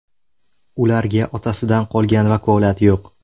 Ularga otasidan qolgan vakolat yo‘q.